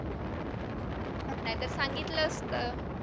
नाहीतर सांगितलं असतं.